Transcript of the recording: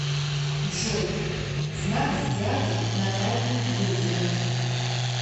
джой знак зодиака натальи дудиной